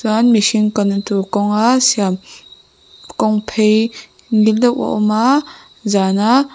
mihring na tur kawnga siam kawng phei ngil deuh a awm a zana.